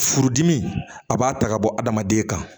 Furudimi a b'a ta ka bɔ adamaden kan